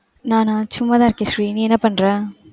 நானா? சும்மாதான் இருக்கேன் ஸ்ரீ. நீ என்ன பண்ற?